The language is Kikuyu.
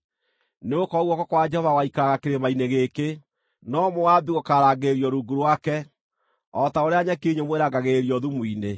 Nĩgũkorwo guoko kwa Jehova gũgaikaraga kĩrĩma-inĩ gĩkĩ; no Moabi gũkaarangĩrĩrio rungu rwake, o ta ũrĩa nyeki nyũmũ ĩrangagĩrĩrio thumu-inĩ.